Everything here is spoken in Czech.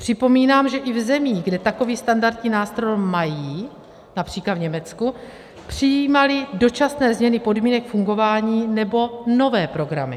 Připomínám, že i v zemích, kde takový standardní nástroj mají, například v Německu, přijímali dočasné změny podmínek fungování nebo nové programy.